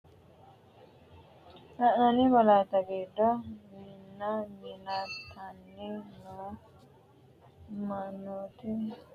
La’inanni malaatta giddo minna mintanni noo mannooti uddi’ra hasi- issanno uduunne leellishshanno kiiro hiittenneeti? Misillate giddo giira kayissannori noota leellishshanno misile hiitten- neeti?